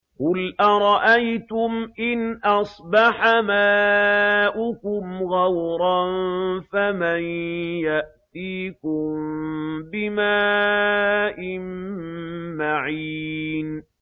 قُلْ أَرَأَيْتُمْ إِنْ أَصْبَحَ مَاؤُكُمْ غَوْرًا فَمَن يَأْتِيكُم بِمَاءٍ مَّعِينٍ